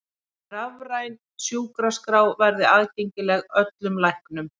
Rafræn sjúkraskrá verði aðgengileg öllum læknum